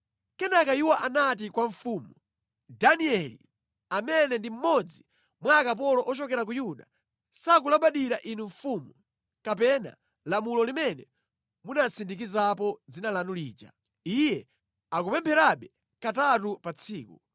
Kenaka iwo anati kwa mfumu, “Danieli, amene ndi mmodzi mwa akapolo ochokera ku Yuda, sakulabadira inu mfumu, kapena lamulo limene munasindikizapo dzina lanu lija. Iye akupempherabe katatu pa tsiku.”